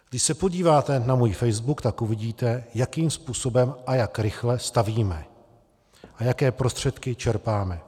Když se podíváte na můj facebook, tak uvidíte, jakým způsobem a jak rychle stavíme a jaké prostředky čerpáme.